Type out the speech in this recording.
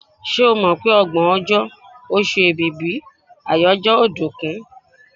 Ṣé o mọ̀ pé ọgbọ̀n ọjọ́, oṣù Èbìbí àyájọ́ ọ̀dùnkún?